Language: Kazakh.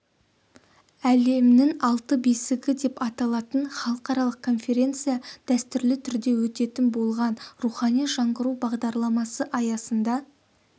әлемінің алтын бесігі деп аталатын халықаралық конференция дәстүрлі түрде өтетін болған рухани жаңғыру бағдарламасы аясында